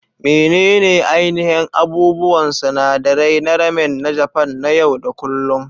Menene ainihin abubuwan sinadarai na ramen na Japan na yau da kullun?